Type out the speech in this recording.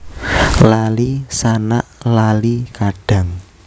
Lali sanak lali kadang